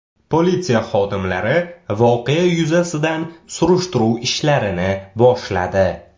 Politsiya xodimlari voqea yuzasidan surishtiruv ishlarini boshladi.